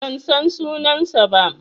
Ban san sunansa ba.